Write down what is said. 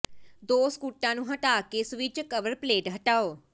ਦੋ ਸਕੂਟਾਂ ਨੂੰ ਹਟਾ ਕੇ ਸਵਿਚ ਕਵਰ ਪਲੇਟ ਹਟਾਓ